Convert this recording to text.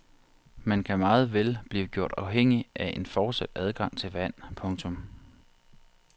Man kan meget vel blive gjort afhængig af en fortsat adgang til vand. punktum